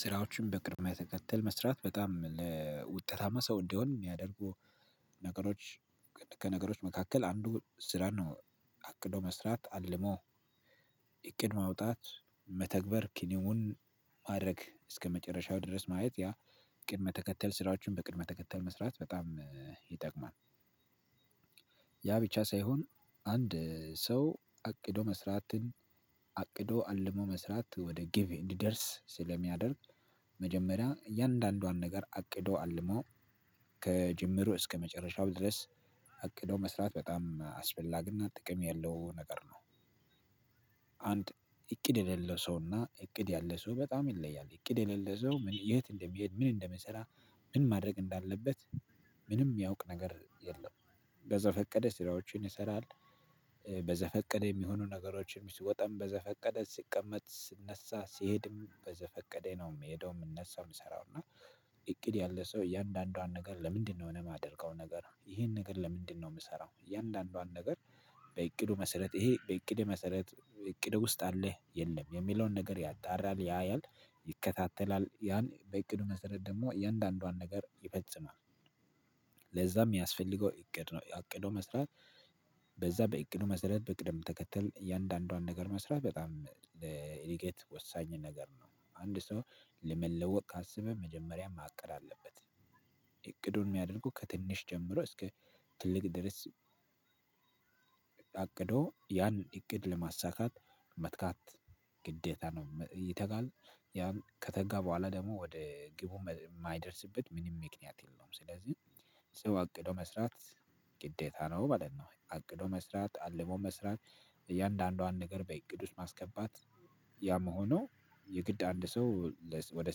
ስራዎችን በቅድመ ተከተል መስራት በጣም ለውጠታማ ሰው እንዲሆን ሚያደርጉ ነገሮች ከነገሮች መካከል አንዱ ስራ ነው። አቅዶ መስራት አልሞ እቅድ ማውጣት መተግበር ኪኒውን ማድረግ እስከመጨረሻው ድረስ ማየት ያ። ቅድመ ተከተል ስራዎችን በቅድመ ተከተል መስራት በጣም ይጠቅማል። ያ ብቻ ሳይሆን አንድ ሰው አቅዶ መስራትን አቅዶ አልሞ መስራት ወደ ግብ እንዲደርስ ስለሚያደርግ መጀመሪያ እያንዳንዷን ነገር አቅዶ አልሞ ከጅምሩ እስከ መጨረሻው ድረስ አቅዶ መስራት በጣም አስፈላጊና ጥቅም ያለው ነገር ነው። አንድ እቅድ የሌለው ሰውና እቅድ ያለው ሰው በጣም ይለያል እቅድ የሌለ ሰው የት እንደሚሄድ ምን እንደመሰራ? ምን ማድረግ እንዳለበት ምንም ሚያውቅ ነገር የለም። በዘ ፈቀደ ስራዎችን ይሰራል። በዘፈቀደ የሚሆኑ ነገሮችን ሲወጣም በዘፈቀደ ስቀመጥ ስነሳ ስሄድም በዘፈቀደ ነው ምሄደው እነሱ ምሰራው እና እቅድ ያለ ሰው እያንዳንዷን ነገር ለምንድነው እኔ ማደርገው ነገር ይሄን ነገር ለምንድነው ምሰራው እያንዳንዷን ነገር? በእቅዱ መሰረት ይሄ በእቅድ መሰረት እቅድ ውስጥ አለ የለም የሚለውን ነገር ያጣራል ያያል ይከታተላል ያን በእቅዱ መሰረት ደግሞ እያንዳንዷን ነገር ይፈጽማል። ለዛም ሚያስፈልገው እቅድ ነው ያአቅዶ መስራት። በዛ በእቅዱ መሰረት በእቅድም ተከተል እያንዳንዷን ነገር መስራት በጣም ለኤዲኬት ወሳኝ ነገር ነው። አንድ ሰው ለመለወጥ ካሰበ መጀመሪያ ማቀድ አለበት። እቅዱን ሚያደርገው ከትንሽ ጀምሮ እስከ ትልቅ ድረስ። አቅዶ ያን እቅድ ለማሳካት መትጋት ግዴታ ነው። ይተጋል ያን ከተጋ በኋላ ደግሞ ወደ ግቡ ማይደርስበት ምንም ምክኒያት የለውም። ስለዚህ ሰው አቅዶ መስራት ግዴታ ነው ማለት ነው። አቅዶ መስራት አልሞ መስራት እያንዳንዷን ነገር በእቅድ ውስጥ ማስገባት። ያምሆነው የግድ አንድ ሰው ወደ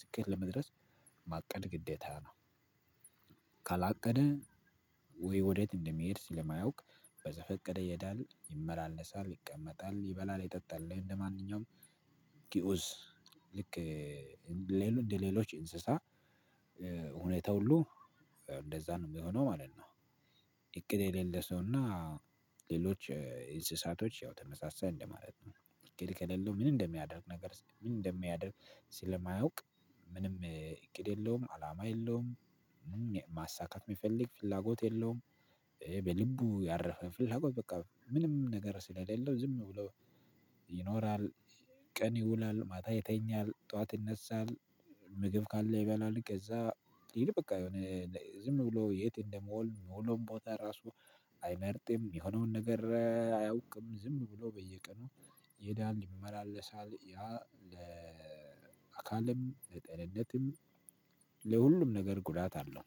ስኬት ለመድረስ ማቀድ ግዴታ ነው። ካላቀደ ወይ ወዴት እንደሚሄድ ስለማያውቅ በዘፈቀደ ይሄዳል ይመላለሳል ይቀመጣል ይበላል ይጠጣልኝ እንደማንኛውም ግኡዝ ልክ ሌሎች እንደሌሎች እንስሳ ሁኔታ ሁሉ እንደዛ ነው ሚሆነው ማለት ነው። እቅድ የሌለ ሰውና ሌሎች እንስሳቶች ያው ተመሳሳይ እንደማለት ነው። ከሌለው ምን እንደሚያደርግ ነገር ምን እንደሚያደርግ ስለማያውቅ። ምንም እቅድ የለውም አላማ የለውም። ማሳካት ሚፈልግ ፍላጎት የለውም። በልቡ ያረፈ ፍላጎት በቃ ምንም ነገር ስለሌለው ዝም ብሎ ይኖራል። ቀን ይውላል ማታ ይተኛል ጠዋት ይነሳል። ምግብ ካለ ይበላል ከዛ ይል በቃ የሆነ ዝም ብሎ የት እንደመወል መውሎም ቦታ ራሱ አይመርጥም የሆነውን ነገር አያውቅም ዝም ብሎ በየቀኑ ይሄዳል ይመላለሳል ያ ለአካልም ለጤንነትም። ለሁሉም ነገር ጉዳት አለው።